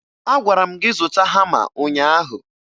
Agwara m gị zụta hama ụnyaahụ